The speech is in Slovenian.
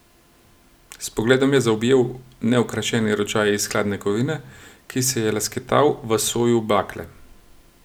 S pogledom je zaobjel neokrašeni ročaj iz hladne kovine, ki se je lesketal v soju bakle.